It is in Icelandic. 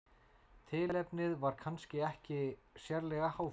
tilefnið var kannski ekki sérlega háfleygt